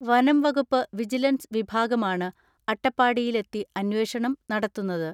വനംവകുപ്പ് വിജിലൻസ് വിഭാഗമാണ് അട്ടപ്പാടിയിലെത്തി അന്വേഷണം നടത്തുന്നത്.